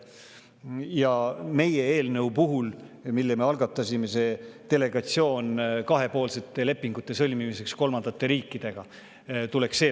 Ja meie eelnõu puhul, mille me algatasime, tuleks välja jätta see kahepoolsete lepingute sõlmimise kohta kolmandate riikidega.